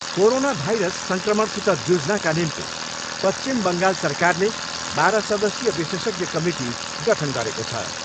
Corona virus सङ्क्रमणसित जुझ्नाका निम्ति पश्विचम बङ्गाल सरकारले बाह्र सदस्यीय विशेषज्ञ कमिटी गठन गरेको छ।